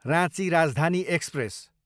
Ranchi Rajdhani express